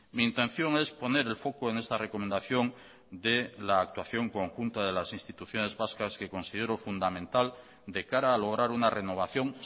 mi intención es poner el foco en esta recomendación de la actuación conjunta de las instituciones vascas que considero fundamental de cara a lograr una renovación